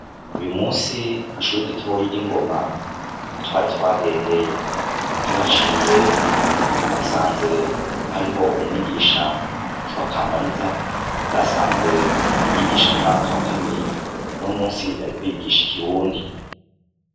Uyumunsi kw' ishure ritoya ry' ingoma niho twari twagendeye tuhaciye twasanze hariyo umwigisha umwigisha yitwa Kamariza yarasanzwe yigisha mu mwaka wa kabiri unomunsi yariko yigisha ikirundi.